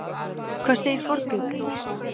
Hvað segir forngripurinn?